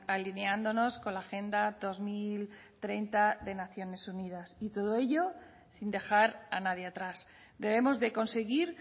alineándonos con la agenda dos mil treinta de naciones unidas y todo ello sin dejar a nadie atrás debemos de conseguir